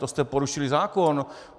To jste porušili zákon.